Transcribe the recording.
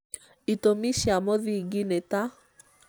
itũmi cia mũthingi nĩ ta: